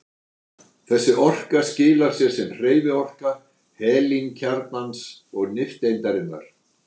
Þessi orka skilar sér sem hreyfiorka helínkjarnans og nifteindarinnar.